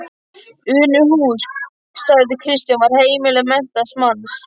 Unuhús, sagði Kristján, var heimili menntaðs manns.